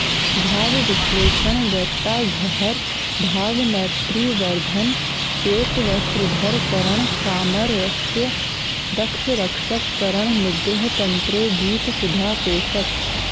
भावविश्लेषण वेत्ताघहर भावमैत्रिवर्धन श्वेतवस्त्रधर करण सामरस्ये दक्ष रक्षक करण निग्रहतन्त्रे गीतसुधा पोषक